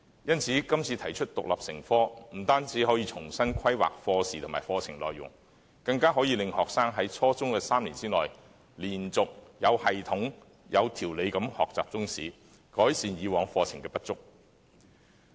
因此，今次提出中史獨立成科，不單可重新規劃課時和課程內容，更可令學生在初中3年內，連續、有系統及有條理地學習中史，改善以往課程的不足。